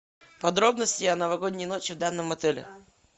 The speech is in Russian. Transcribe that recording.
подробности о новогодней ночи в данном отеле